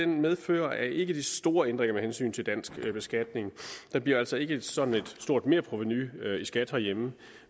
medfører ikke de store ændringer med hensyn til dansk beskatning der bliver altså ikke sådan et stort merprovenu i skat herhjemme